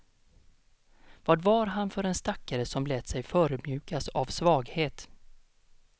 Vad var han för en stackare som lät sig förödmjukas av svaghet.